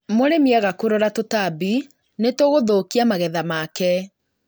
Mũrĩmi aga kũrora tũtambi, nĩtũgũthũkia magetha make